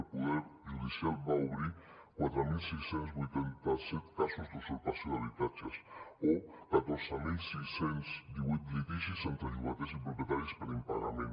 el poder judicial va obrir quatre mil sis cents i vuitanta set casos d’usurpació d’habitatges o catorze mil sis cents i divuit litigis entre llogaters i propietaris per impagament